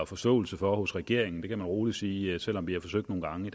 forståelse for hos regeringen det kan man rolig sige selv om vi har forsøgt nogle gange